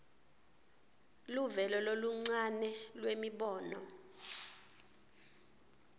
luvelo loluncane lwemibono